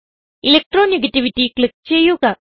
electro negativity click ചെയ്യുക